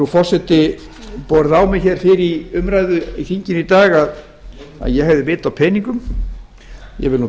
forseti borið á mig hér fyrr í umræðu í þinginu í dag að ég hefði vit á peningum ég vil nú